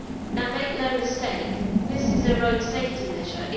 Now make no mistake, this is a road safety measure.